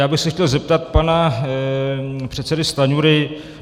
Já bych se chtěl zeptat pana předsedy Stanjury.